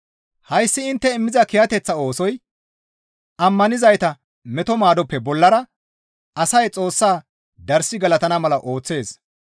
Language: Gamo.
Hayssi intte immiza kiyateththa oosoy ammanizayta meto maadoppe bollara asay Xoossaa darssi galatana mala ooththees.